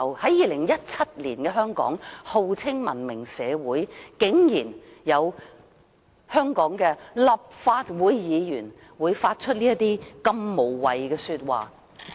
在2017年的香港，在號稱文明社會的香港，竟然有香港立法會議員會說出這麼無謂的話。